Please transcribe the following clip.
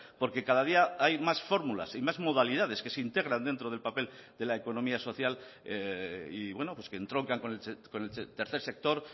porque cada día hay más fórmulas y más modalidades que se integran dentro del papel de la economía social y que entroncan con el tercer sector